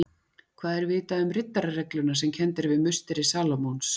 Hvað er vitað um riddararegluna sem kennd er við musteri Salómons?